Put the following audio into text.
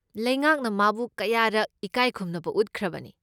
ꯂꯩꯉꯥꯛꯅ ꯃꯥꯕꯨ ꯀꯌꯥꯔꯛ ꯏꯀꯥꯏ ꯈꯨꯝꯅꯕ ꯎꯠꯈ꯭ꯔꯕꯅꯤ꯫